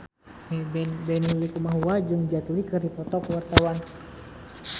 Benny Likumahua jeung Jet Li keur dipoto ku wartawan